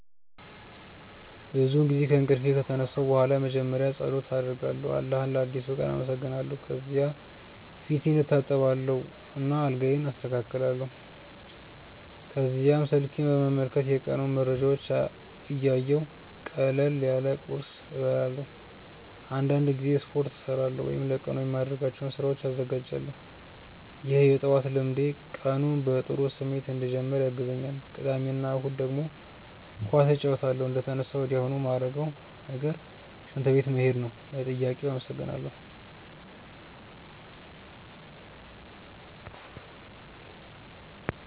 ብዙውን ጊዜ ከእንቅልፌ ከተነሳሁ በኋላ መጀመሪያ ፀሎት አደርጋለሁ አላህን ለአዲሱ ቀን አመሰግናለሁ። ከዚያ ፊቴን እታጠባለሁ እና አልጋዬን አስተካክላለሁ። ከዚያም ስልኬን በመመልከት የቀኑን መረጃዎች እያየሁ ቀለል ያለ ቁርስ እበላለሁ። አንዳንድ ጊዜ ስፖርት እሠራለሁ ወይም ለቀኑ የማደርጋቸውን ስራዎች እዘጋጃለሁ። ይህ የጠዋት ልምዴ ቀኑን በጥሩ ስሜት እንድጀምር ያግዘኛል። ቅዳሜ እና እሁድ ደግሞ ኳስ እጫወታለሁ። እንደተነሳሁ ወዲያውኑ ማረገው ነገር ሽንት ቤት መሄድ ነው። ለጥያቄው አመሰግናለው።